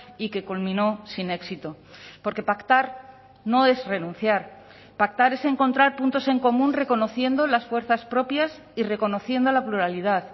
y que culminó sin éxito porque pactar no es renunciar pactar es encontrar puntos en común reconociendo las fuerzas propias y reconociendo la pluralidad